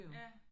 Ja